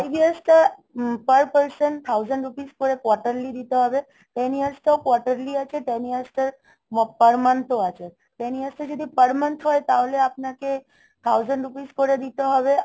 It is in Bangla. উম per person thousand rupee করে quarterly দিতে হবে. ten years তো quarterly আছে. ten years টার মো~ per month ও আছে, ten years টা যদি per month হয় তাহলে আপনাকে thousand rupees করে দিতে হবে